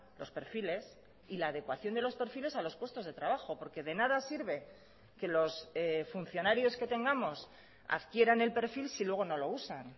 los perfiles y la adecuación de los perfiles a los puestos de trabajo porque de nada sirve que los funcionarios que tengamos adquieran el perfil si luego no lo usan